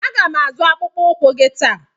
A ga m azụ akpụkpọ ụkwụ gị taa.